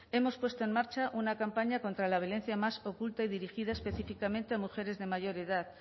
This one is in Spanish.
hemos puesto en marcha una campaña contra la violencia más oculta y dirigida específicamente a mujeres de mayor edad